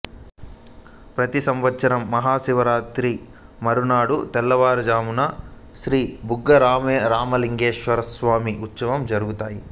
ప్రతి సంవత్సరం మహాశివరాత్రి మరునాడు తెల్లవారుజామున శ్రీ బుగ్గరామలింగేశ్వర స్వామి ఉత్సవాలు జరుగుతాయి